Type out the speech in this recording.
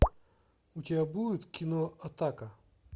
у тебя будет кино атака